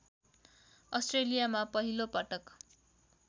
अस्ट्रेलियामा पहिलो पटक